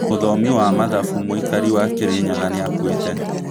Mũthomi wa mathabu, mũikari wa Kirinyaga nĩakuite